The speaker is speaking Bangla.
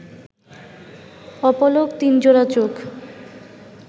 অপলক তিনজোড়া চোখ